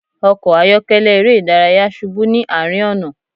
Ọkọ ayọkẹlẹ ere idaraya ṣubu ni arin ọna